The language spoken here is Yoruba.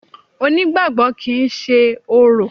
Onígbàgbọ́ kìí ṣe orò.